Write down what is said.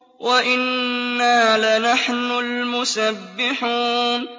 وَإِنَّا لَنَحْنُ الْمُسَبِّحُونَ